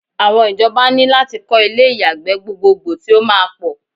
Awon ijoba ní lati ko ilé ìyàgbẹ́ gbogboogbo ti o máa pọ̀